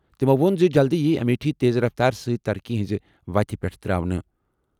تٔمو ووٚن زِ جلدٕے یِیہِ امیٹھی تیز رفتارٕ سۭتۍ ترقی ہٕنٛزِ وتہِ پٮ۪ٹھ ترانہٕ۔